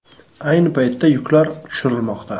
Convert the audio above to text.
Ayni paytda yuklar tushirilmoqda.